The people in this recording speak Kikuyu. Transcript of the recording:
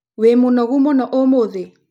Wĩ mũnogu mũno ũmũthĩ?